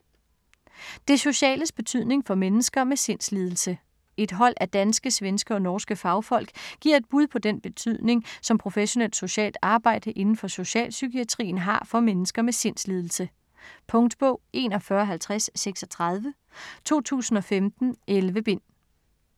Det sociales betydning for mennesker med sindslidelse Et hold af danske, svenske og norske fagfolk giver et bud på den betydning, som professionelt socialt arbejde inden for socialpsykiatrien, har for mennesker med sindslidelse. Punktbog 415036 2015. 11 bind.